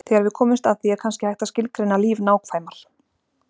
Þegar við komumst að því, er kannski hægt að skilgreina líf nákvæmar.